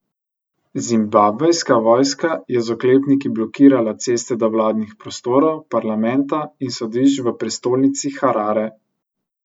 Zimbabvejska vojska je z oklepniki blokirala ceste do vladnih prostorov, parlamenta in sodišč v prestolnici Harare.